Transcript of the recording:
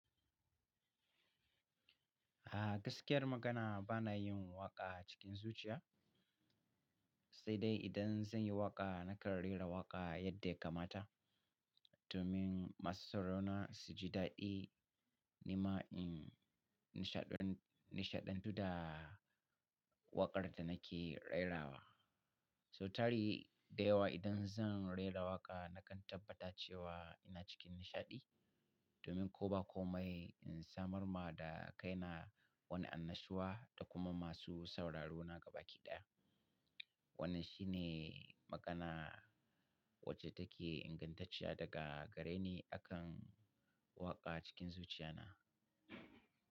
A gaskiyar magana bana yin waƙa cikin zuciya, sai dai idan zan yi waƙa nakan rera waƙa yadda ya kamata. Domin masu saurona su ji daɗi. Nima in nishaɗantu da waƙar da nake rerawa. So tari dayawa idan zan rera waƙa nakan tabbata cewa ina cikin nishaɗi domin ko ba komai in samar ma da kaina. Wani annashuwa da kuma masu sauraro na gaba ɗaya. Wannan shine magana. Wace take ingantacciya daga gare ni akan waƙa cikin zuciya na.